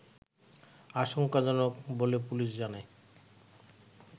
আশংকাজনক বলে পুলিশ জানায়